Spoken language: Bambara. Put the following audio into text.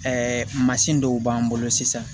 Ɛɛ mansin dɔw b'an bolo sisan